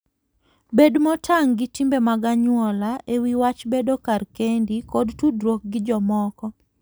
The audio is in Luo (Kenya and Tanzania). Bed motang' gi timbe mag anyuola e wi wach bedo kar kendi koda tudruok gi jomoko.